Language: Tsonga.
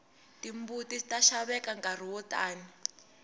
timbuti ta xaveka nkarhi wo tani